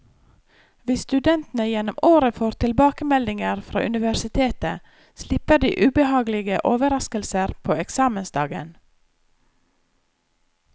Hvis studentene gjennom året får tilbakemeldinger fra universitetet, slipper de ubehagelige overrasker på eksamensdagen.